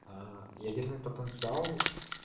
а ядерный потенциал